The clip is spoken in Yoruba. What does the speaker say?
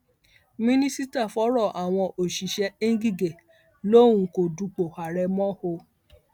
mínísítà fọrọ àwọn òṣìṣẹ ngigẹ lòun kò dupò ààrẹ mọ o